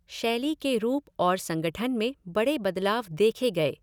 शैली के रूप और संगठन में बड़े बदलाव देखे गए।